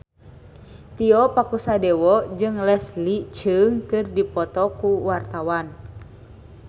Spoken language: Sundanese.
Tio Pakusadewo jeung Leslie Cheung keur dipoto ku wartawan